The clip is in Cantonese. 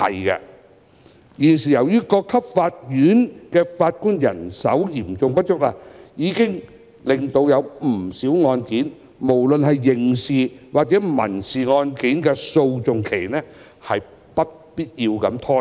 現時各級法院的法官人手嚴重不足已令不少案件的訴訟期——不論是刑事或民事案件——不必要地拖延。